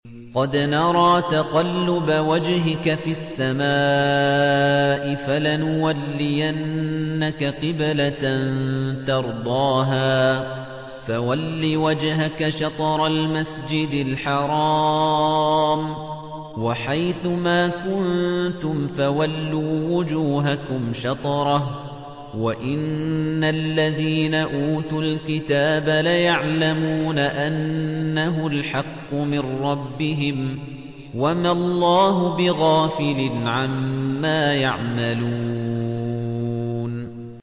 قَدْ نَرَىٰ تَقَلُّبَ وَجْهِكَ فِي السَّمَاءِ ۖ فَلَنُوَلِّيَنَّكَ قِبْلَةً تَرْضَاهَا ۚ فَوَلِّ وَجْهَكَ شَطْرَ الْمَسْجِدِ الْحَرَامِ ۚ وَحَيْثُ مَا كُنتُمْ فَوَلُّوا وُجُوهَكُمْ شَطْرَهُ ۗ وَإِنَّ الَّذِينَ أُوتُوا الْكِتَابَ لَيَعْلَمُونَ أَنَّهُ الْحَقُّ مِن رَّبِّهِمْ ۗ وَمَا اللَّهُ بِغَافِلٍ عَمَّا يَعْمَلُونَ